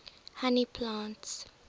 honey plants